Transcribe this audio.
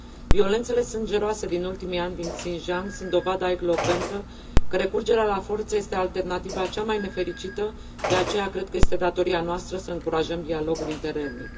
Violențele sângeroase din ultimii ani din Xinjiang sunt dovada elocventă că recurgerea la forță este alternativa cea mai nefericită, de aceea cred că este de datoria noastră să încurajăm dialogul interetnic.